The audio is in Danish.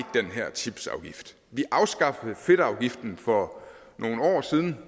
chipsafgift vi afskaffede fedtafgiften for nogle år siden